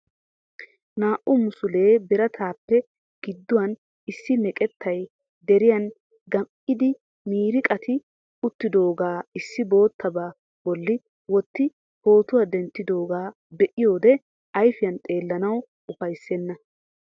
Naa"u musule biratappe gidduwaan issi meqqetay deriyaan gam"idi miiriqatti uttiidaaga issi boottaba bolli wotti pootuwaa denttidooga be'iyoode ayfiyaan xeellanaw ufayssena.